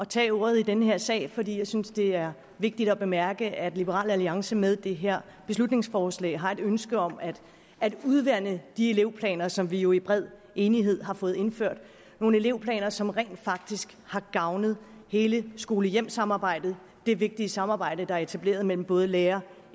tage ordet i den her sag fordi jeg synes det er vigtigt at bemærke at liberal alliance med det her beslutningsforslag har et ønske om at at udvande de elevplaner som vi jo i bred enighed har fået indført nogle elevplaner som faktisk har gavnet hele skole hjem samarbejdet det vigtige samarbejde der er etableret mellem både lærer